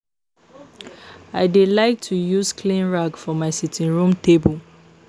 I dey like to use clean rag for my sitting room table